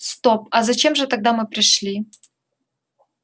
стоп а зачем же тогда мы пришли